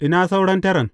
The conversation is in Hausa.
Ina sauran taran?